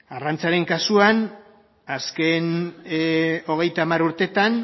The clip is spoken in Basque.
arrantzaren kasuan azken hogeita hamar urteetan